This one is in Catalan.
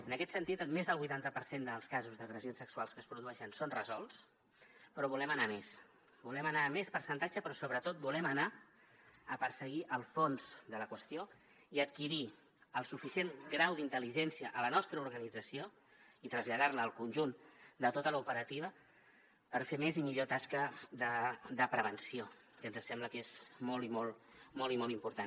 en aquest sentit més del vuitanta per cent dels casos d’agressions sexuals que es produeixen són resolts però volem anar a més volem anar a més percentatge però sobretot volem anar a perseguir el fons de la qüestió i adquirir el suficient grau d’intel·ligència a la nostra organització i traslladar la al conjunt de tota l’operativa per fer més i millor tasca de prevenció que ens sembla que és molt i molt molt i molt important